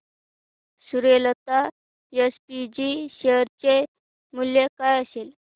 Suryalata SPG share चे मूल्य काय असेल